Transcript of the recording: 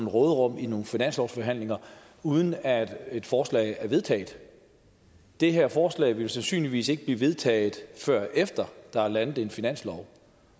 råderum i nogle finanslovsforhandlinger uden at et forslag er vedtaget det her forslag vil jo sandsynligvis ikke blive vedtaget før der er landet en finanslov